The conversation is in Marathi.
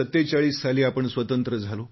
1947 साली आपण स्वतंत्र झालो